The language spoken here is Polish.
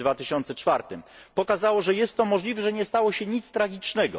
2004. Pokazało, że jest to możliwe, że nie stało się nic tragicznego.